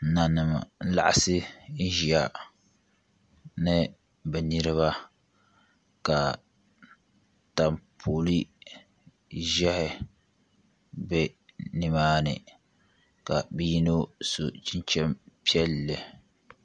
Nanim n laɣasi ʒiya ni bi niraba ka taapoli ʒiɛhi bɛ nimaani ka bi yino so chinchin piɛlli